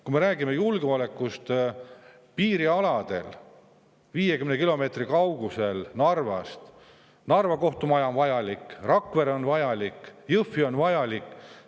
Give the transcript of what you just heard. Kui me räägime julgeolekust piirialadel, siis Narva kohtumaja on vajalik, 50 kilomeetri kaugusel oleva Jõhvi maja on vajalik, Rakvere maja on vajalik.